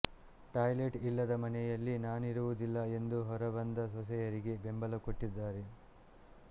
toilet ಇಲ್ಲದ ಮನೆಯಲ್ಲಿ ನಾನಿರುವುದಿಲ್ಲ ಎಂದು ಹೊರಬಂದ ಸೊಸೆಯರಿಗೆ ಬೆಂಬಲ ಕೊಟ್ಟಿದ್ದಾರೆ